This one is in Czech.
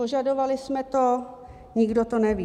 Požadovali jsme to, nikdo to neví.